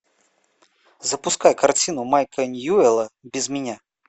запускай картину майка ньюэлла без меня